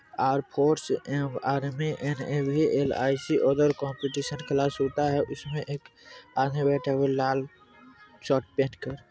Are force R M A N I C और competition class होता है इसमें एक आधे बैठे हुए है लाल शर्ट पहन कर।